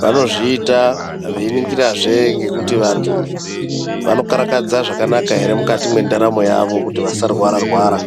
Vanozviita veiningirazve ngekuti vantu vanokarakadza zvakanaka here mukati mwentaramo yavo kuti vantu vasarwara rwara